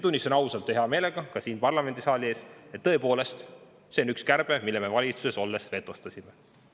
Tunnistan ausalt ja hea meelega ka siin parlamendisaali ees, et see on tõepoolest üks kärbe, mille me valitsuses olles vetostasime.